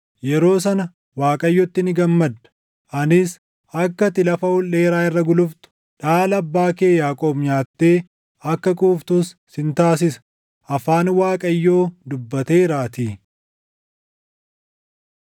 yeroo sana Waaqayyotti ni gammadda; anis akka ati lafa ol dheeraa irra guluftu, dhaala abbaa kee Yaaqoob nyaattee akka quuftus sin taasisa.” Afaan Waaqayyoo dubbateeraatii.